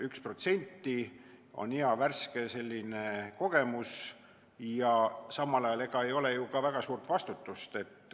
1% on selline hea värske kogemus ja samal ajal ei ole seal ju ka väga suurt vastutust.